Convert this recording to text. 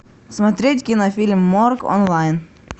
смотреть кинофильм морг онлайн